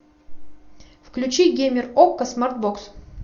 включи геймер окко смартбокс